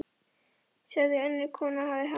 sagði önnur kona og hafði hátt.